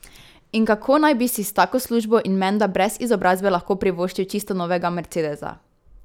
In kako naj bi si s tako službo in menda brez izobrazbe lahko privoščil čisto novega mercedesa?